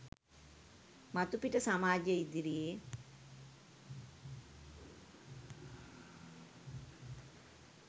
මතුපිට සමාජය ඉදිරියේ